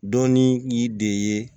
Dɔnni y'i de ye